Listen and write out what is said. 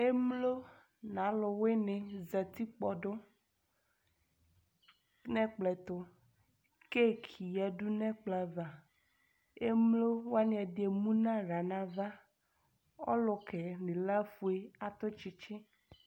Émlo n'a alu wuni zati kpɔdu nɛ ɛkplɔ tu Ké éki yadu nɛ ɛkpla va Émlowani ɛdi émuna aɣla nava Ɔlukɛ ni ilă fuë a tu tchitchi